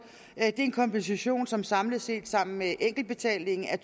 det er en kompensation som samlet set sammen med enkeltbetalingen er